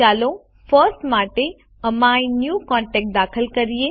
ચાલો ફર્સ્ટ માટે એમીન્યુકોન્ટેક્ટ દાખલ કરીએ